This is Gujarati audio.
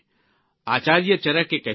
આચાર્ય ચરકે કહ્યું છે